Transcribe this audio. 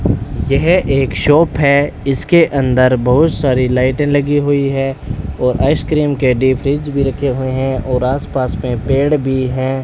यह एक शॉप है इसके अंदर बहुत सारी लाइटें लगी हुई है और आइसक्रीम के डीप फ्रिज भी रखे हुए हैं और आसपास में पेड़ भी हैं।